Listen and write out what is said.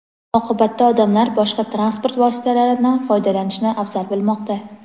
Oqibatda odamlar boshqa transport vositalaridan foydalanishni afzal bilmoqda.